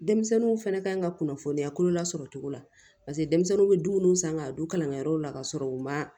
Denmisɛnninw fɛnɛ kan ka kunnafoniya kolo lasɔrɔ cogo la paseke denmisɛnw bɛ dumuni san ka don kalankɛyɔrɔw la ka sɔrɔ u ma